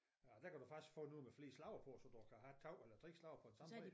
Og der kan du faktisk få noget med flere slags på så du kan have 2 eller 3 slags på samme træ